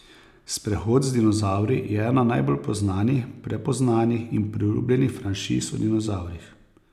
Sprehod z dinozavri je ena najbolj poznanih, prepoznanih in priljubljenih franšiz o dinozavrih.